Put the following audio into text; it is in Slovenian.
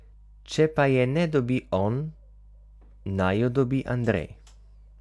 Če pa je ne dobi on, naj jo dobi Andrej.